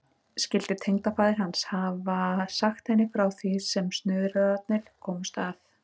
Skyldi tengdafaðir hans hafa sagt henni frá því sem snuðrararnir komust að?